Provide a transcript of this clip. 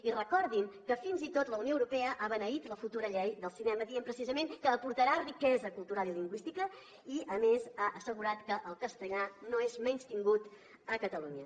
i recordin que fins i tot la unió europea ha beneït la futura llei del cinema dient precisament que aportarà riquesa cultural i lingüística i a més ha assegurat que el castellà no és menystingut a catalunya